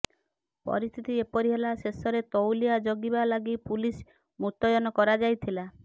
ପରିସ୍ଥିତି ଏପରି ହେଲା ଶେଷରେ ତଉଲିଆ ଜଗିବା ଲାଗି ପୁଲିସ୍ ମୁତୟନ କରାଯାଇଥିଲା